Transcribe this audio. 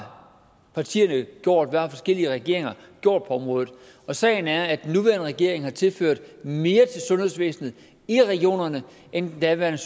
partierne gjort hvad har forskellige regeringer gjort på området og sagen er at den nuværende regering har tilført mere til sundhedsvæsenet i regionerne end den daværende